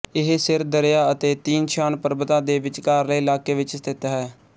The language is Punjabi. ਇਹ ਸਿਰ ਦਰਿਆ ਅਤੇ ਤੀਨ ਸ਼ਾਨ ਪਰਬਤਾਂ ਦੇ ਵਿਚਕਾਰਲੇ ਇਲਾਕੇ ਵਿੱਚ ਸਥਿਤ ਹੈ